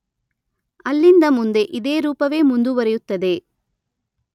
ಅಲ್ಲಿಂದ ಮುಂದೆ ಇದೇ ರೂಪವೇ ಮುಂದುವರಿಯುತ್ತದೆ.